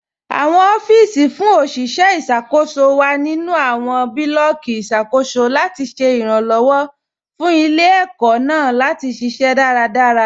Awọn ọfiisi fún oṣiṣẹ iṣakoso wa nínu awọn bulọọki iṣakoso latí ṣẹ iranlọwọ fún ilẹ̀-ẹkó̀ naà latí ṣiṣẹ̀ daradara.